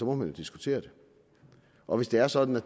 man jo diskutere det og hvis det er sådan at